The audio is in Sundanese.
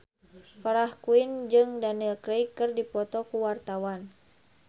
Farah Quinn jeung Daniel Craig keur dipoto ku wartawan